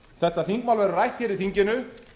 þetta þingmál verður rætt hér í þinginu